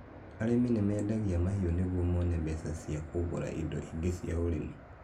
Arĩmi mendagia mahiũ nĩguo mone mbeca cia kũgũra indo ingĩ cia ũremi.